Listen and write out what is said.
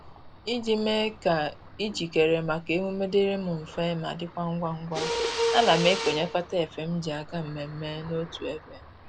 Iji mee ka ijikere maka emume dịrị m mfe ma dịkwa ngwa ngwa, ana m ekonyekọta efe m ji aga mmemme n'otu ebe